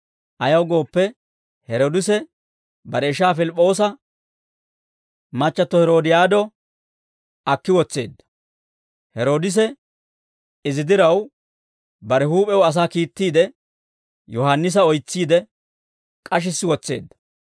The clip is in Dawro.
Ayaw gooppe, Heroodise bare ishaa Pilip'p'oosa machchatto Heroodiyaado akki wotseedda; Heroodise izi diraw, bare huup'ew asaa kiittiide, Yohaannisa oytsiide, k'ashissi wotseedda.